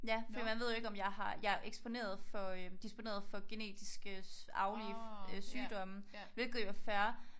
Ja fordi man ved jo ikke om jeg har jeg er eksponeret for øh disponeret for genetiske arvelige øh sygdomme hvilket jo er fair